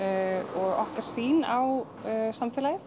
og okkar sýn á samfélagið